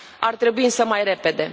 Ar trebui însă mai repede.